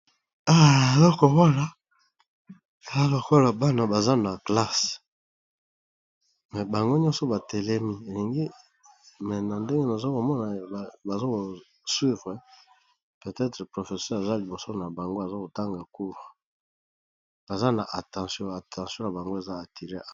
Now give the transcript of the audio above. eloko wana kala lokola bana baza na classe me bango nyonso batelemi elingi me na ndenge nozokomona bazokoswivre petetre professeur eza liboso na bango azakotanga koura baza na attention attention na bango eza attire